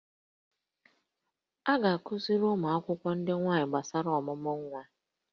A ga-akụziri ụmụ akwụkwọ ndị nwaanyị gbasara ọmụmụ nwa